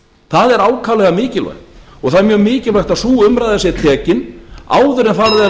það er ákaflega mikilvægt og það er mjög mikilvægt að sú umræða sé tekin áður en farið er